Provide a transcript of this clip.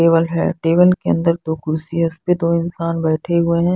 Table है table के अंदर दो कुर्सी है और उस पे दो इंसान बैठे हुए हैं।